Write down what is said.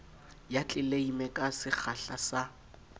ya tleleime ka sekgahla sa